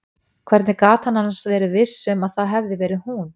Hvernig gat hann annars verið viss um að það hefði verið hún?